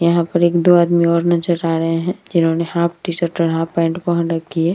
यहाँ पर एक दो आदमी और नजर आ रहे है जिन्होंने हाफ टी-शर्ट और हाफ पैंट पहन रखी है।